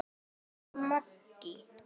Rósa Maggý.